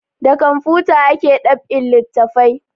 Da kamfuta ake dab'in littafai